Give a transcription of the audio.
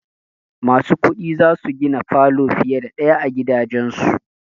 Masu kuɗi za su gina falo fiye da ɗaya a gidajansu.